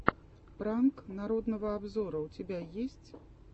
пранк народного обзора у тебя есть